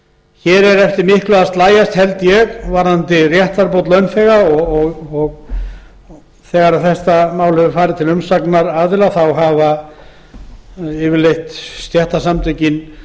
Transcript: hér er eftir miklu að slægjast varðandi réttarbót launþega og þegar málið hefur farið til umsagnaraðila hafa stéttarsamtökin